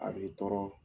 A b'i tɔɔrɔ